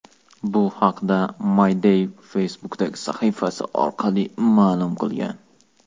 Bu haqda My Day Facebook’dagi sahifasi orqali ma’lum qilgan .